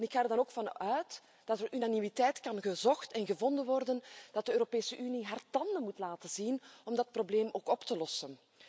Ik ga er dan ook van uit dat er unanimiteit gezocht en gevonden kan worden dat de Europese Unie haar tanden moeten laten zien om dat probleem ook op te lossen.